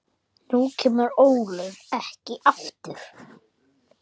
Nú kemur Ólöf ekki aftur.